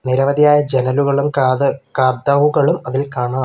നിരവധിയായ ജനലുകളും കത കതവുകളും അതിൽ കാണാം.